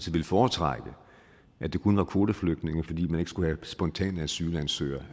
ville foretrække at det kun var kvoteflygtninge fordi man ikke skulle have spontanasylansøgere